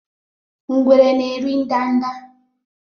Ngwere na eri nda nda